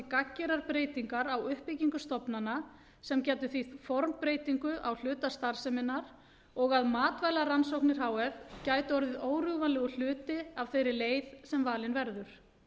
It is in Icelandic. gagngerar breytingar á uppbyggingu stofnana sem getur þýtt formbreytingu á hluta starfseminnar og að matvælarannsóknir h f gætu orðið órjúfanlegur hluti af þeirri leið sem valin verður